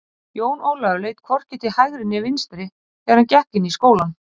Jón Ólafur leit hvorki til hægri né vinstri þegar hann gekk inn í skólann.